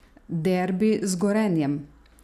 Derbi z Gorenjem?